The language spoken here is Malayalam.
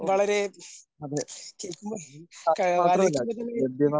വളരെ കേക്കുമ്പോ ആലോചിക്കുമ്പോൾ തന്നെ